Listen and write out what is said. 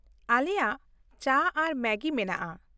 ᱟᱞᱮᱭᱟᱜ ᱪᱟ ᱟᱨ ᱢᱮᱜᱤ ᱢᱮᱱᱟᱜᱼᱟ ᱾